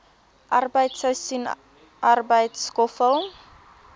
arbeid seisoensarbeid skoffel